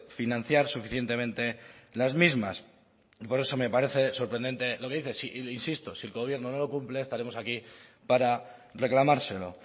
financiar suficientemente las mismas por eso me parece sorprendente lo que dices e insisto si el gobierno no lo cumple estaremos aquí para reclamárselo